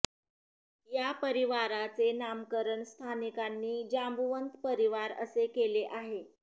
या परिवाराचे नामकरण स्थानिकांनी जांबुवंत परिवार असे केले आहे